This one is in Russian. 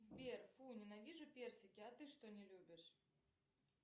сбер фу ненавижу персики а ты что не любишь